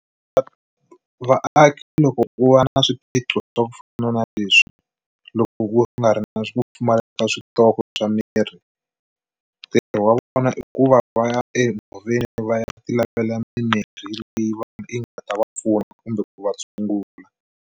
Vaaki loko ku va na swiphiqo swa ku fana na leswi loko ku nga ri na ku pfumaleka ka switoko swa mirhi ntirho wa vona i ku va va ya enhoveni va ya ti lavela mimirhi leyi va yi nga ta va pfuna kumbe ku va tshungula.